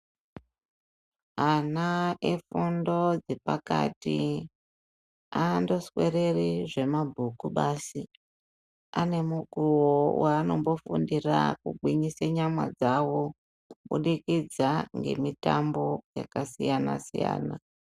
Ana efundo dzepakati andoswereri zvemabhuku basi. Anemukuwo wanombofundira kugwinyisa nyama dzavo kubukidza ngemutambo yakasiyana siyana .